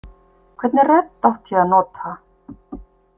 Hvernig rödd átti ég að nota?